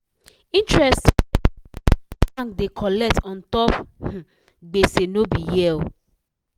interest bank dey colect untop gbese no be here oh